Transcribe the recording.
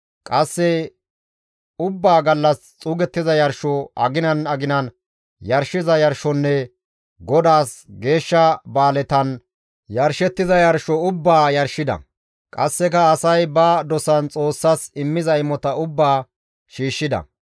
Qasse ubbaa gallas xuugettiza yarsho, aginan aginan yarshiza yarshonne Godaas geeshsha ba7aaletan yarshettiza yarsho ubbaa yarshida; qasseka asay ba dosan Xoossas immiza imota ubbaa shiishshida.